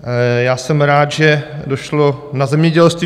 Já jsem rád, že došlo na zemědělství.